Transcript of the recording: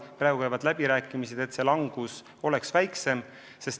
Praegu käivad läbirääkimised, et see langus oleks väiksem.